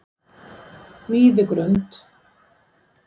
Víðigrund